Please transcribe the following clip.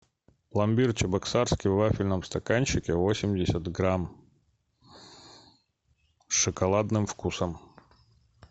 пломбир чебоксарский в вафельном стаканчике восемьдесят грамм с шоколадным вкусом